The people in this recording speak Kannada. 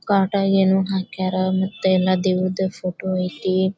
ಕಾಟ ಏನೋ ಹಾಕಾರ ದೇವರದು ಫೋಟೋ ಐತೆ